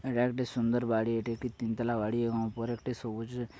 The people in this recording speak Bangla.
এটা একটি সুন্দর বাড়ি। এটা একটি তিনতলা বাড়ি এবং উপর একটি সবুজ --